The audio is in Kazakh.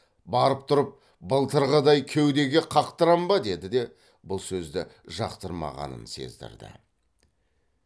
барып тұрып былтырғыдай кеудеге қақтырам ба деді де бұл сөзді жақтырмағанын сездірді